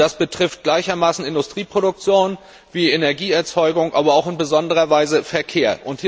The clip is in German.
Das betrifft gleichermaßen Industrieproduktion wie Energieerzeugung, aber auch in besonderer Weise den Verkehr.